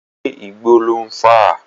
Ṣé Igbó lò ń fà?